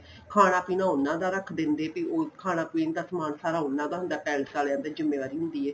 ਖਾਨਾ ਪੀਣਾ ਉਹਨਾ ਦਾ ਰੱਖ ਦਿੰਦੇ ਤੇ ਖਾਨਾ ਪੀਣ ਦਾ ਸਮਾਨ ਸਾਰਾ ਉਹਨਾ ਦਾ ਹੁੰਦਾ ਏ palace ਆਲਿਆਂ ਦੀ ਜ਼ਿਮੇਵਾਰੀ ਹੁੰਦੀ ਏ